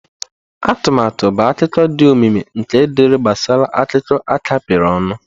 Atụmatụ bụ akụkọ dị omimi nke dere gbasara akụkọ a kapịrị ọnụ.